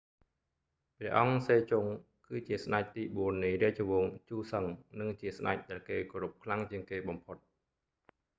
ព្រះអង្គ សេជុង គឺជាស្តេចទីបួននៃរាជវង្ស ជូសឹង និងជាស្តេចដែលគេគោរពខ្លាំងជាងគេបំផុត